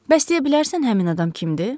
Bəs deyə bilərsən həmin adam kimdir?